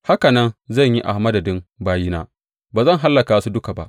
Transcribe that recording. haka nan zan yi a madadin bayina; ba zan hallaka su duka ba.